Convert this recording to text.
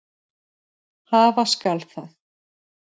Hafa skal það.